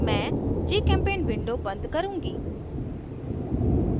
मैं gchempaint window बंद करुँगी